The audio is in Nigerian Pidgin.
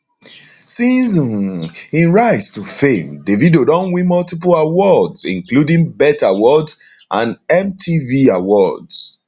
since um im rise to fame davido don win multiple awards including bet awards and mtv awards